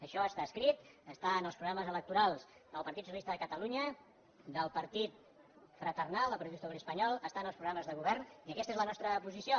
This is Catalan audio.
això està escrit és en els programes electorals del partit socialista de catalunya del partit fraternal del partit socialista obrer espanyol és en els programes de govern i aquesta és la nostra posició